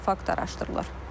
Fakt araşdırılır.